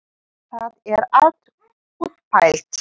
Það er allt útpælt.